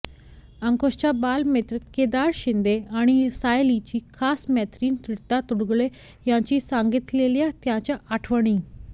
अंकुशचा बालमित्र केदार शिंदे आणि सायलीची खास मैत्रीण ऋता दुर्गुळे यांनी सांगितलेल्या त्यांच्या आठवणी